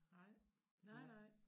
Nej nej nej